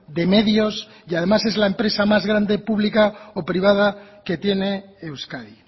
de medios y además es la empresa más grande pública o privada que tiene euskadi